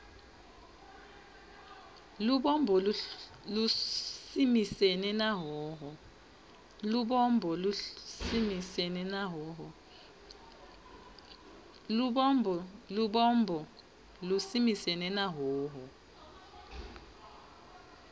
lubombo lusimisene na hhohho